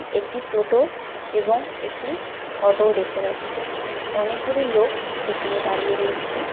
একটি টোটো এবং একটি অটো ও দেখতে পাচ্ছি অনেকগুলি লোক সেখানে দাঁড়িয়ে রয়েছে।